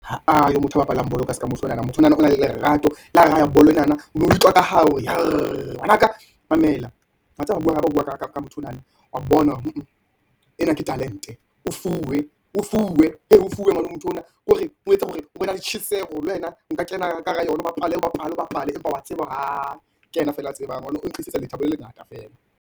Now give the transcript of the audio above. Ha ayo motho a bapalang bolo ka seka motho onana, motho onana o na le lerato la raha bolo enana, o no utlwa ka hao ngwana ka. Mamela watseba ha re bua ka motho onana, wa bona ena ke talent-e, o fuwe, hee o fuwe motho ona, ke hore o etse hore o na le tjheseho le wena, o ka kena ka hara yona o bapala, empa wa tseba hore aa keyena feela a tseba, hobane o re tlisetsa lethabo le lengata feela.